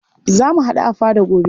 Za mu haɗu a fada gobe.